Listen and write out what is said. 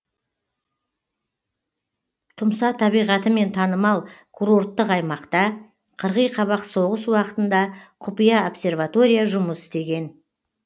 тұмса табиғатымен танымал курорттық аймақта қырғи қабақ соғыс уақытында құпия обсерватория жұмыс істеген